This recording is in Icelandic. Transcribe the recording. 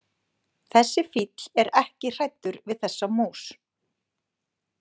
Þessi fíll er ekki hræddur við þessa mús.